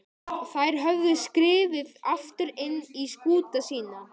Þær höfðu skriðið aftur inn í skúta sína.